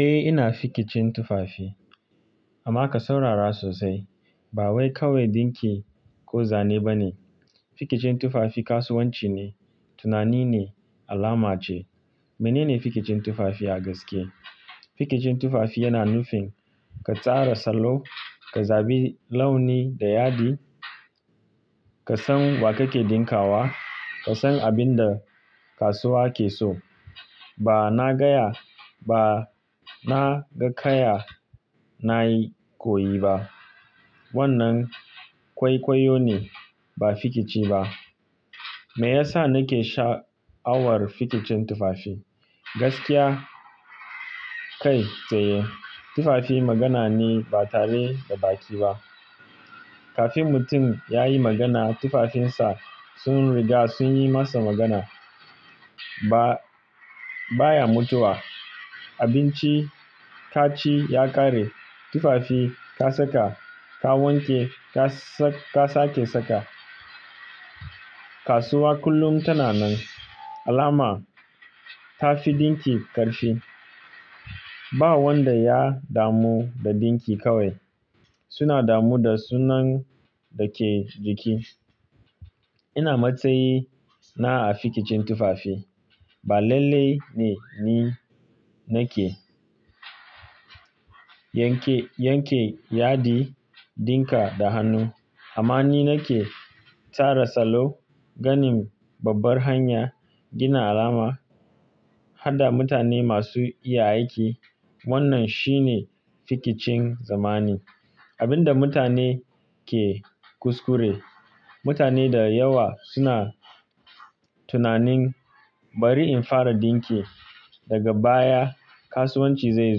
Eh ina fikicin tufafi amma ka saurara sosai ba wai kawai dinki ko zane ba ne. Fikicin tufafi kasuwanci ne, tunani ne, alama ce. Mene ne fikicin tufafi a gaske? Fikicin tufafi yana nufin ka tsara salo, ka zabi launi da yadi, ka san wa kake dinka wa, ka san abin da kasuwa ke so. Ba na gaya, ba na ga kaya na yi koyi ba. Wannan kwaikwayo ne ba fikici ba. Me yasa nake sha'awar fikicin tufafi? Gaskiya kai tsaye. Tufafi magana ne ba tare da baki ba. Kafin mutum ya yi magana tufafinsa sun riga sun yi masa magana. Ba baya mutuwa. Abinci ka ci ya ƙare. Tufafi ka saka, ka wanke ka sake saka. Kasuwa kullum tana nan. Alama ta fi dinki ƙarfi. Ba wanda ya damu da dinki kawai. Suna damu da sunan da ke jiki. Ina matsayi na a fikicin tufafi. Ba lalle ne ni nake yanke yanke yadi, dinka da hannu. Amma ni nake tsara salo, ganin babbar hanya, gina alama, hada mutane masu iya aiki. Wannan shine fikicin zamani. Abin da mutane ke kuskure. Mutane da yawa suna tunanin bari in fara dinki daga baya kasuwanci zai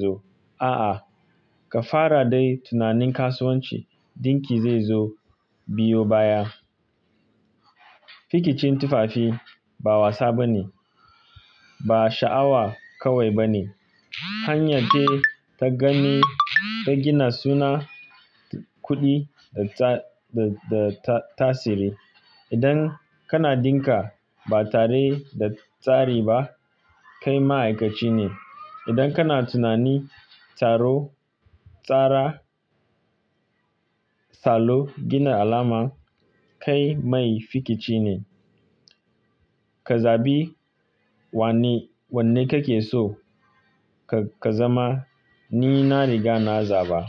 zo. A'a, ka fara dai tunanin kasuwanci dinki zai zo biyo baya. Fikicin tufafi ba wasa ba ne. Ba sha'awa kawai ba ne. Hanyar ce ta gani, ta gina suna, kuɗi da tasiri. Idan kana dinka ba tare da tsari ba kai ma'aikaci ne. Idan kana tunani, tsaro, tsara salo, gina alama kai mai fikici ne. Ka zabi wanne kake so ka zama. Ni na riga na zaba.